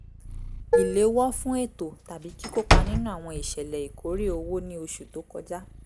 ìléwọ́ fún ètò tàbí kíkópa nínú àwọn ìṣẹ̀lẹ̀ ìkórè owó ní oṣù tó kọjá